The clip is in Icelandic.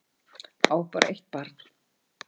Á bara eitt barn